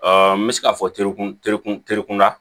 n bɛ se k'a fɔ terikun terikun terikun na